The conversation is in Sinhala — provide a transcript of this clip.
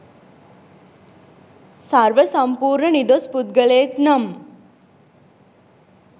සර්ව සම්පූර්ණ නිදොස් පුද්ගලයෙක් නම්